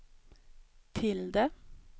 tilde